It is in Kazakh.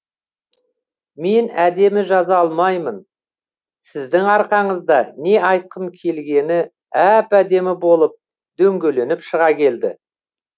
мен әдемі жаза алмаймын сіздің арқаңызда не айтқым келгені әп әдемі болып дөңгеленіп шыға келді